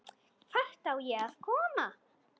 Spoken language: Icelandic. Hvert á ég að koma?